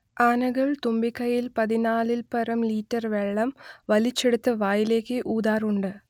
ആനകൾ തുമ്പിക്കൈയിൽ പതിനാലിൽപ്പരം ലിറ്റർ വെള്ളം വലിച്ചെടുത്ത് വായിലേക്ക് ഊതാറുണ്ട്